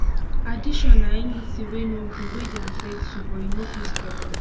addiction na anything wey no good wey dey affect you but you no fit stop am